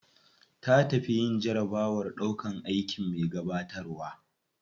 Ta tafi yin jarabawar ɗaukan aikin me gabatarwa.